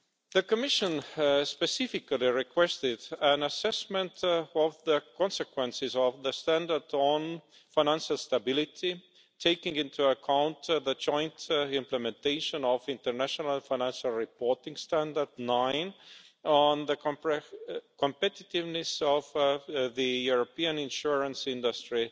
The Commission specifically requested an assessment of the consequences of the standard on financial stability, taking into account the joint implementation of International Financial Reporting Standard 9, on the competitiveness of the European insurance industry,